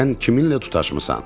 Sən kiminlə tutaşmısan?